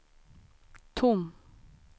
tom